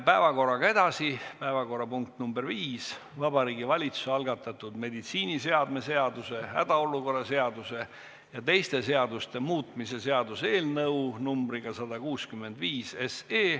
Päevakorrapunkt nr 5, Vabariigi Valitsuse algatatud meditsiiniseadme seaduse, hädaolukorra seaduse ja teiste seaduste muutmise seaduse eelnõu 165.